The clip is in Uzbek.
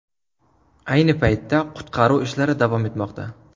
Ayni paytda qutqaruv ishlari davom etmoqda.